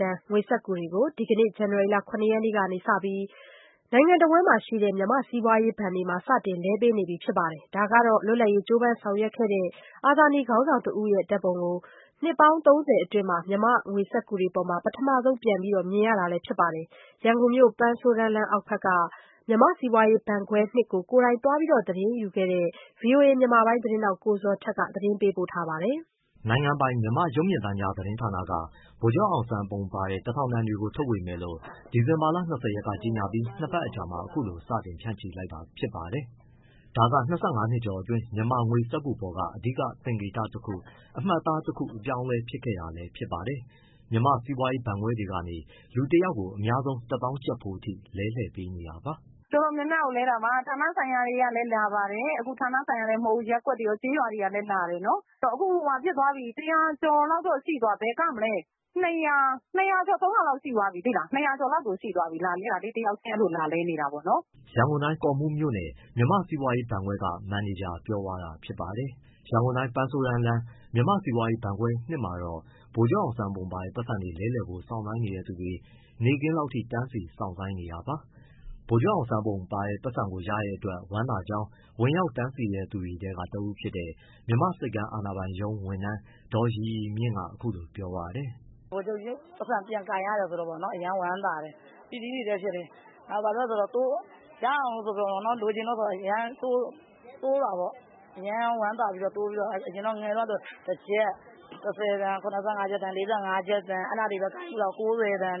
တန်ငွေစက္ကူတွေကို ဒီကနေ့ ဇန်နဝါရီ ၇ရက်ကစပြီး တနိုင်ငံလုံးက မြန်မာ့စီးပွားရေးဘဏ်တွေမှာ စတင်လဲပေးနေပြီ ဖြစ်ပါတယ်။ ဒါက အနှစ် ၃၀ အတွင်း မြန်မာငွေစက္ကူတွေပေါ်မှာ လွတ်လပ်ရေးကြိုးပမ်းဆောင်ရွက်ခဲ့တဲ့ အာဇာနည်ခေါင်းဆောင်တဦးရဲ့ ပုံကို ပထမဆုံး ပြန်ပြီး မြင်ရတာလည်းဖြစ်ပါတယ်။ ရန်ကုန်မြို့ ပန်းဆိုးတန်းလမ်းအောက်ဘက်က မြန်မာ့စီးပွားရေးဘဏ်ခွဲ ကို သွားရောက်သတင်းယူခဲ့တဲ့ ဗွီအိုအေ မြန်မာပိုင်း သတင်းထောက် ကိုဇော်ထက်က သတင်း အပြည့်အစုံကိုပြောပြပေးမှာပါ။ နိုင်ငံပိုင် မြန်မာ့ရုပ်မြင်သံကြားသတင်းဌာနက ဗိုလ်ချုပ်အောင်ဆန်းပုံပါတဲ့ ၁၀၀၀ တန်တွေထုတ်ဝေမယ်လို့ ဒီဇင်လာ ၂၀ ကြေညာပြီး နှစ်ပတ်အကြာမှာ အခုလို စတင်ဖြန့်ချီလိုက်တာဖြစ်ပါတယ်။ ဒါက ၂၅နှစ်ကျော်အတွင်း မြန်မာငွေစက္ကူပေါ်က အဓိကသင်္ကေတတခု၊ အမှတ်အသားတခု အပြောင်းအလဲ ဖြစ်ခဲ့တာလည်း ဖြစ်ပါတယ်။ မြန်မာ့စီးပွားရေးဘဏ်ခွဲတွေကနေ လူတယောက်ကို အများဆုံး ၁သောင်းကျပ်ဖိုးအထိ လဲလှယ်ပေးနေတာပါ။ “ တော်တော်များများကိုလဲတာပါ ဌာနဆိုင်ရာတွေကလည်း လာပါတယ်။ အခုဌာနဆိုင်ရာတင် မဟုတ်ဘူး ရပ်ကွက်တွေရော ကျေးရွာတွေရော လာတယ်နော်။ အခုတရာကျော် ဘယ်ကမလဲ ၂၀၀ ကျော် ၃၀၀ လောက်ရှိသွားပြီ တယောက်ချင်းလာလဲနေကြတာ။” ရန်ကုန်တိုင်း၊ ကော့မှူးမြို့နယ် မြန်မာ့စီးပွားရေးဘဏ်ခွဲက မန်နေဂျာပြောပြသွားတာဖြစ်ပါတယ်။ ရန်ကုန်တိုင်း၊ ပန်းဆိုးတန်းလမ်း မြန်မာ့စီးပွားရေးဘဏ်ခွဲ မှာတော့ ဗိုလ်ချုပ်ပုံပါတဲ့ ပိုက်ဆံလဲလှယ်ဖို့ စောင့်ဆိုင်းနေတဲ့သူတွေ နေ့ခင်းလောက်ထိ တန်းစီ စောင့်ဆိုင်းနေတာပါ။ ဗိုလ်ချုပ်ပုံပါတဲ့ ပိုက်ဆံကို ရတဲ့အတွက် ဝမ်းသာကြောင်း ဝင်ရောက်တန်းစီသူတွေထဲ တဦးဖြစ်တဲ့ မြန်မာ့ဆိပ်ကမ်း အာဏာပိုင်ရုံး ဝန်ထမ်း ဒေါ်ရီရီမြင့်ကအခုလိုပြောပါတယ်။ “ ဗိုလ်ချုပ်ပိုက်ဆံပြန်ကိုင်ရတယ်ဆိုတော့ အရမ်းဝမ်းသာတယ်။ ပီတိတွေလည်းဖြစ်တယ်။ ဘာလို့ဆို ရအောင်လို့ဆိုပြီး အရမ်းတိုးတာပေါ့။ ငယ်ငယ်တုန်းကဆို တကျပ်၊ တဆယ်တန်၊ ၇၅ကျပ်တန်၊ ၄၅ကျပ်တန် အဲဒါတွေပဲကိုင်ဖူးတာ ၉၀တန်။